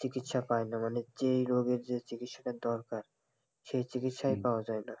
চিকিৎসা পায় না মানে যেই রোগের যে রোগের চিকিৎসা দরকার সেই চিকিৎসা পাওয়া যায় না,